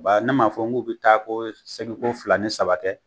Ba ne m'a fɔ n g'u bi taa ko seli ko fila ni saba kɛ?